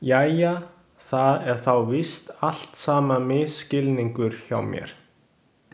Jæja, það er þá víst allt saman misskilningur hjá mér.